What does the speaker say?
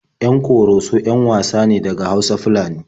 Yan Ƙoroso 'yan wasa ne daga Hausa-Fulani.